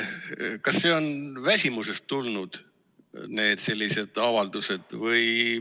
Kas sellised avaldused on tulnud väsimusest?